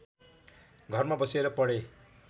घरमा बसेर पढे